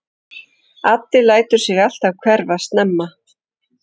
Addi lætur sig alltaf hverfa snemma.